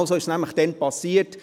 Genau so ist es damals passiert.